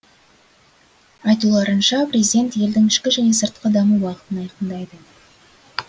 айтуларынша президент елдің ішкі және сыртқы даму бағытын айқындайды